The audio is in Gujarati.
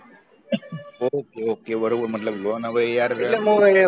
okay okay બરોબર મતલબ loan હવે યાર